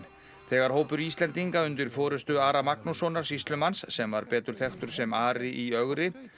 þegar hópur Íslendinga undir forystu Ara Magnússonar sýslumanns sem var betur þekktur sem Ari í ögri